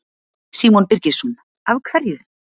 Símon Birgisson: Af hverju?